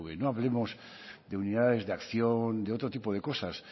no hablemos de unidades de acción o de otro tipo de cosas